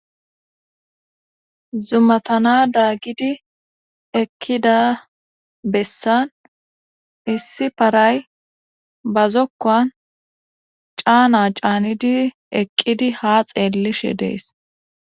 Zumatana daagidi ekkida bessan issi paray bazokkan caana caanidi eqqidi ha xeellishe dees